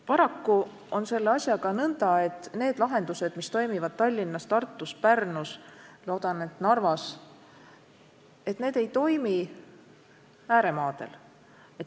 Paraku on selle asjaga nõnda, et need lahendused, mis toimivad Tallinnas, Tartus, Pärnus ja loodan, et ka Narvas, ei toimi ääremaadel.